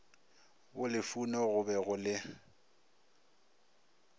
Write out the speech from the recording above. bolufuno go be go le